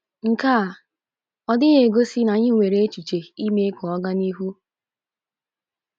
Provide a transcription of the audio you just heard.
Nke a ọ́ dịghị egosi na anyị nwere echiche ime ka ọ gaa n'ihu? ’